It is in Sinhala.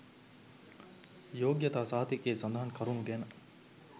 යෝග්‍යතා සහතිකයේ සඳහන් කරුණු ගැන